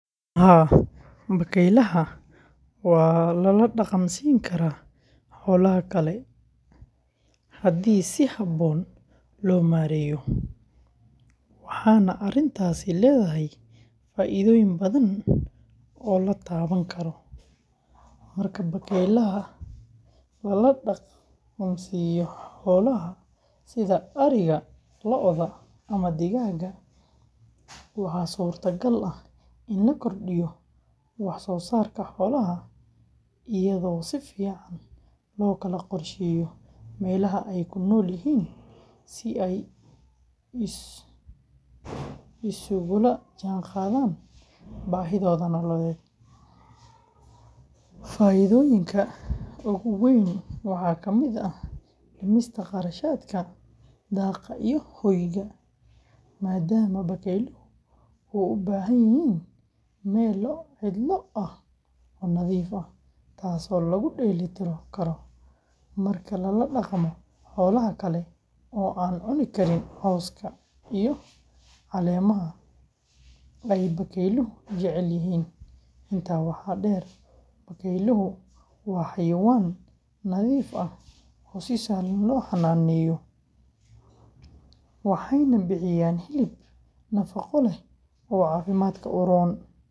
Haa, bakaylaha waa la la dhaqmi karaa xoolaha kale haddii si habboon loo maareeyo, waxaana arrintaasi leedahay faa’iidooyin badan oo la taaban karo. Marka bakaylaha lala dhaqmo xoolaha sida ariga, lo’da, ama digaagga, waxaa suurtagal ah in la kordhiyo wax-soosaarka xoolaha iyadoo si fiican loo kala qorsheeyo meelaha ay ku nool yihiin, si ay isugula jaanqaadaan baahidooda nololeed. Faa’iidooyinka ugu weyn waxaa ka mid ah dhimista kharashaadka daaqa iyo hoyga, maadaama bakayluhu u baahan yihiin meel cidlo ah oo nadiif ah, taasoo lagu dheellitiro karo marka lala dhaqmo xoolaha kale oo aan cuni karin cawska iyo caleemaha ay bakayluhu jecel yihiin. Intaa waxaa dheer, bakayluhu waa xayawaan nadiif ah oo si sahlan loo xannaaneeyo, waxayna bixiyaan hilib nafaqo leh oo caafimaadka u roon.